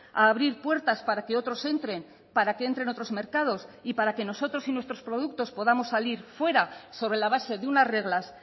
a abrir puertas para que otros entren para que entren otros mercados y para que nosotros y nuestros productos podamos salir fuera sobre la base de unas reglas